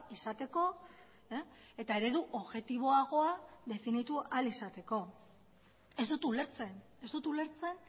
izateko eta eredu objektiboagoa definitu ahal izateko ez dut ulertzen ez dut ulertzen